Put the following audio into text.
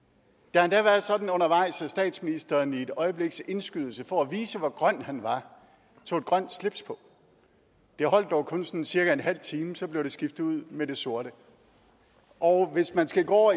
har endda været sådan undervejs at statsministeren i et øjebliks indskydelse for at vise hvor grøn han er tog et grønt slips på det holdt dog kun sådan cirka en halv time så blev det skiftet ud med det sorte og hvis man skal gå